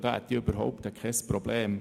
Damit hätte ich kein Problem.